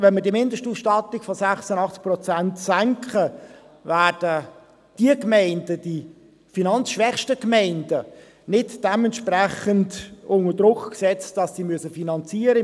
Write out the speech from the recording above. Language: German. Wenn wir die Mindestausstattung von 86 Prozent senken, werden die finanzschwächsten Gemeinden nicht entsprechend unter Druck gesetzt, sodass sie finanzieren müssen.